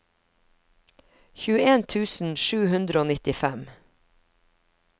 tjueen tusen sju hundre og nittifem